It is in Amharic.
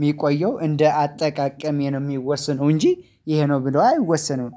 የሚቆየው እንደ አጠቃቀሜ ነው የሚወስነው እንጂ ይሄ ነው ብለው አይወሰንም።